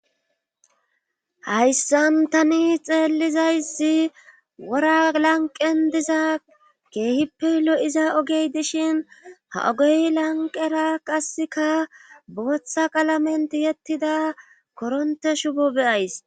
hayssan tani xeellizayssi wora lanqen diza keehippe lo7iza ogey dishin ha ogey lanqera qasseka booththa qalamenti yettida koronte shubo beyays